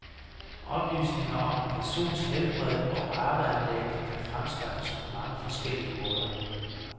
Oplysninger om en persons helbred og arveanlæg kan fremskaffes på mange forskellige måder.